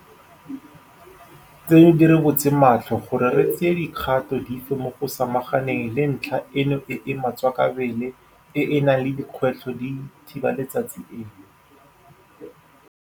Tseno di re butse matlho gore re tseye dikgato dife mo go samaganeng le ntlha eno e e matswakabele e e nang le dikgwetlho di thiba letsatsi eno.